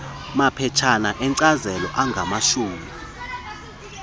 maphetshana enkcazelo angamashumi